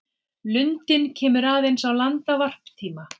Lundinn kemur aðeins á land á varptíma.